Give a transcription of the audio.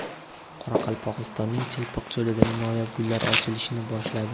Qoraqalpog‘istonning Chilpiq cho‘lidagi noyob gullar ochilishni boshladi .